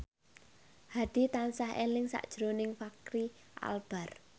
Hadi tansah eling sakjroning Fachri Albar